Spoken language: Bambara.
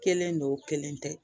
Kelen don o kelen tɛ